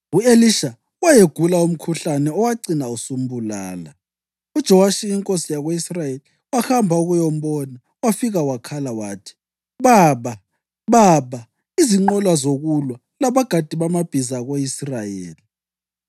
U-Elisha wayegula umkhuhlane owacina usumbulala. UJowashi inkosi yako-Israyeli wahamba ukuyambona wafika wakhala wathi, “Baba! Baba! Izinqola zokulwa labagadi bamabhiza ako-Israyeli!”